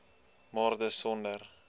maar dis sonder